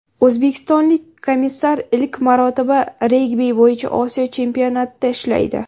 O‘zbekistonlik komissar ilk marotaba regbi bo‘yicha Osiyo chempionatida ishlaydi.